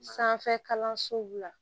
Sanfɛ kalansow la